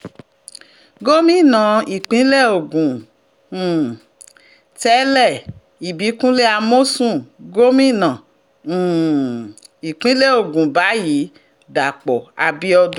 gomina ìpínlẹ̀ ogun um tẹ̀lé ìbíkunlé amọ̀sùn gòmìnà um ìpínlẹ̀ ogun báyìí dàpọ̀ abiodun